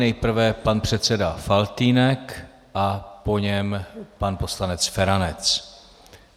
Nejprve pan předseda Faltýnek a po něm pan poslanec Feranec.